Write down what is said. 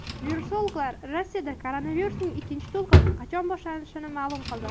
Virusologlar Rossiyada koronavirusning ikkinchi to‘lqini qachon boshlanishini ma’lum qildi.